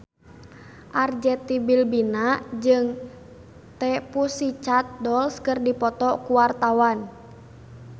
Arzetti Bilbina jeung The Pussycat Dolls keur dipoto ku wartawan